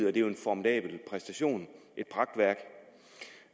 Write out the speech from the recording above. er jo en formidabel præstation det